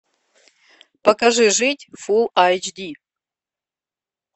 покажи жить фул айч ди